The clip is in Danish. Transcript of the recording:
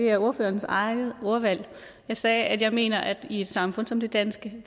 er ordførerens eget ordvalg jeg sagde at jeg mener at i et samfund som det danske